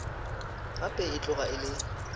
gape e tloga e le